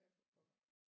Ja for pokker